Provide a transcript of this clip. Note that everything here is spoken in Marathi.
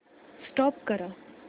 स्टॉप करा